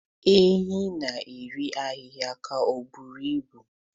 Ehi na-eri ahihia ka ọ buru ibu.